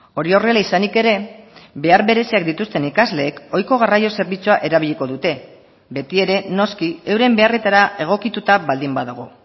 hori horrela izanik ere behar bereziak dituzten ikasleek ohiko garraio zerbitzua erabiliko dute betiere noski euren beharretara egokituta baldin badago